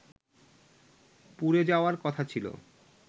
পুড়ে যাওয়ার কথা ছিল